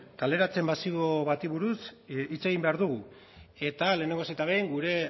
kaleratze masibo bati buruz hitz egin behar dugu eta lehenengo eta behin gure